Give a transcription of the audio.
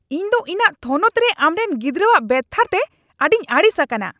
ᱤᱧ ᱫᱚ ᱤᱧᱟᱜ ᱛᱷᱚᱱᱚᱛ ᱨᱮ ᱟᱢᱨᱮᱱ ᱜᱤᱫᱽᱨᱟᱹᱣᱟᱜ ᱵᱮᱵᱷᱟᱨᱛᱮ ᱟᱹᱰᱤᱧ ᱟᱹᱲᱤᱥ ᱟᱠᱟᱱᱟ !